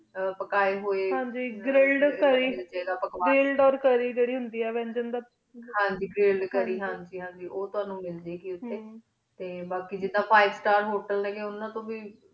ਪਕੇ ਹੂਯ ਹਨ ਜੀ ਗ੍ਲਿਲ੍ਡ ਗਲਿਡ ਓਰ ਕੈਰੀ ਜਾਰੀ ਹੁੰਦੀ ਆ ਮਿਲ੍ਜੰਦਾ ਹਨ ਜੀ ਗਲਿਡ ਕੈਰੀ ਹਨ ਜੀ ਹਨ ਜੀ ਉਤੁਵਾਨੁ ਮਿਲ ਜੇ ਗੀ ਟੀ ਬਾਕੀ ਜਿਦਾਂ five star hotel ਉਨਾ ਤੂੰ ਵੇ